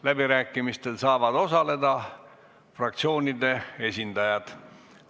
Läbirääkimistel saavad osaleda fraktsioonide esindajad.